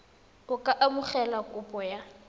a ka amogela kopo ya